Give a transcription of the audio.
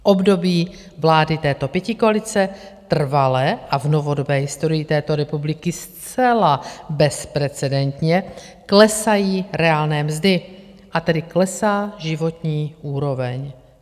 V období vlády této pětikoalice trvale a v novodobé historii této republiky zcela bezprecedentně klesají reálné mzdy, a tedy klesá životní úroveň.